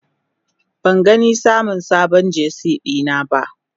Ban gani samun sabon Jersey dina ba.